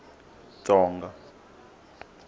tsonga